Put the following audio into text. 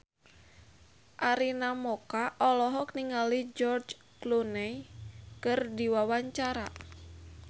Arina Mocca olohok ningali George Clooney keur diwawancara